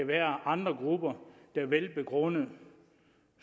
være andre grupper der velbegrundet